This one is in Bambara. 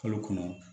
Kalo kɔnɔ